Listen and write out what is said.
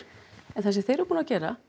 en það sem þeir eru búnir að gera